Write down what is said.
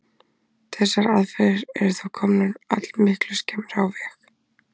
Þessar aðferðir eru þó komnar allmiklu skemmra á veg.